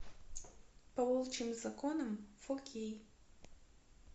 по волчьим законам фо кей